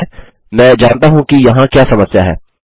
ठीक है मैं जानता हूँ कि यहाँ क्या समस्या है